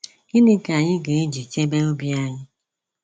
Gịnị ka anyị ga eji chebe obi anyị?